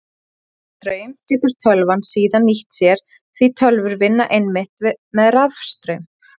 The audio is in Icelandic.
Þennan straum getur tölvan síðan nýtt sér því tölvur vinna einmitt með rafstraum.